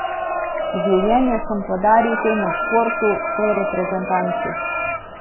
Življenje sem podaril temu športu, tej reprezentanci.